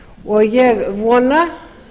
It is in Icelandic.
og ég vona